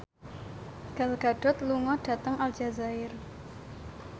Gal Gadot lunga dhateng Aljazair